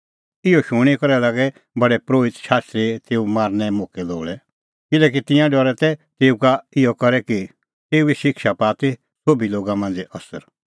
इहअ शूणीं करै लागै प्रधान परोहित शास्त्री तेऊ मारनें मोक्कै लोल़ै किल्हैकि तिंयां डरा तै तेऊ का इहअ करै कि तेऊए शिक्षा पाआ ती सोभी लोगा मांझ़ै असर